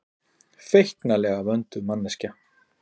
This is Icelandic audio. Feiknalega vönduð manneskja.